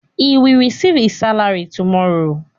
He will receive his salary tomorrow.